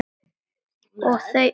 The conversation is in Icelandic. Og þau töl